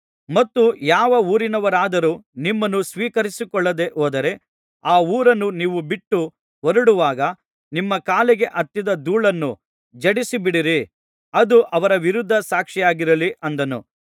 ಮತ್ತು ಯಾವ ಊರಿನವರಾದರೂ ನಿಮ್ಮನ್ನು ಸ್ವೀಕರಿಸಿಕೊಳ್ಳದೆ ಹೋದರೆ ಆ ಊರನ್ನು ನೀವು ಬಿಟ್ಟುಹೊರಡುವಾಗ ನಿಮ್ಮ ಕಾಲಿಗೆ ಹತ್ತಿದ ಧೂಳನ್ನು ಝಾಡಿಸಿಬಿಡಿರಿ ಅದು ಅವರ ವಿರುದ್ಧ ಸಾಕ್ಷಿಯಾಗಿರಲಿ ಅಂದನು